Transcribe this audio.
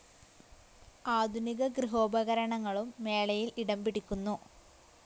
ആധുനിക ഗൃഹോപകരണങ്ങളും മേളയിൽ ഇടം പിടിക്കുന്നു.